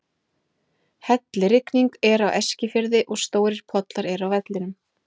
Hellirigning er á Eskifirði og stórir pollar eru á vellinum.